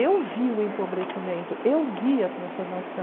Eu vi o empobrecimento, eu vi a transformação.